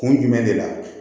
Kun jumɛn de la